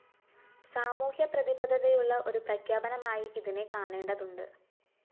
സാമൂഹ്യപ്രതിബദ്ധതയുള്ള ഒരു പ്രഖ്യാപനമായി ഇതിനെ കാണേണ്ടതുണ്ട്